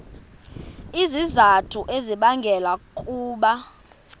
izizathu ezibangela ukuba